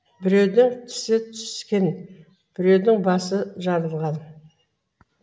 біреудің тісі түскен біреудің басы жарылған